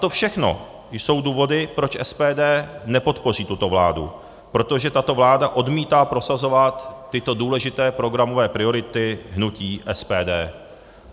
To všechno jsou důvody, proč SPD nepodpoří tuto vládu, protože tato vláda odmítá prosazovat tyto důležité programové priority hnutí SPD.